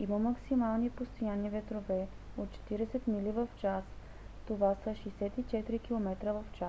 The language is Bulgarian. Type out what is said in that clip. има максимални постоянни ветрове от 40 мили в час 64 км/ч